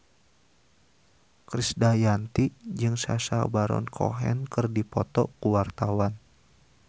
Krisdayanti jeung Sacha Baron Cohen keur dipoto ku wartawan